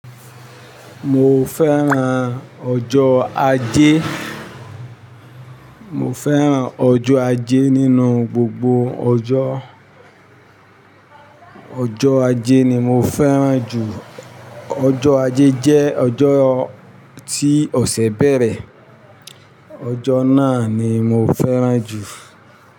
Mo fẹ́ran ọjọ́ Aje. Mo fẹ́ran ọjọ́ Aje nínú gbogbo ọjọ́. Ọjọ́ Aje ni mo fẹ́ran jù. Ọjọ́ Aje jẹ́ ọjọ́ tí ọ̀sẹ̀ bẹ̀rẹ̀. Ọjọ́ náà ni mo fẹ́ran jù.